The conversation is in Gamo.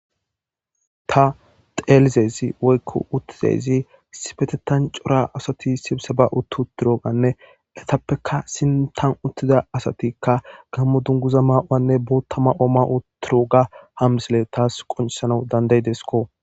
Ta teelizezi woykko uttizeyzi sipetetan cora asati sibisa ba uttu utturoganne letappeka sintan uttida asatikka gammo dunguza maa7uwanne boottama ooma utturo ga hamsile taas qoncisanau danday desko.